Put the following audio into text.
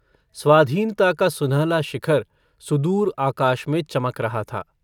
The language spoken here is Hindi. स्वाधीनता का सुनहला शिखर सुदूर आकाश में चमक रहा था।